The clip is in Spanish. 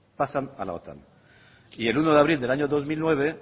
pasan a la otan y el uno de abril del año dos mil nueve